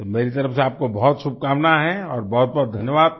तो मेरी तरफ़ से आपको बहुत शुभकामना है और बहुतबहुत धन्यवाद